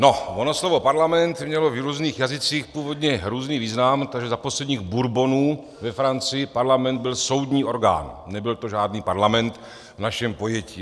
Ono slovo parlament mělo v různých jazycích původně různý význam, takže za posledních Bourbonů ve Francii parlament byl soudní orgán, nebyl to žádný parlament v našem pojetí.